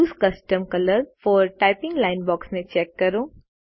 use custom colour for typing line box ને ચેક કરો